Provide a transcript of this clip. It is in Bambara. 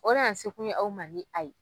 O nana ni sekun ye aw man ni a ye.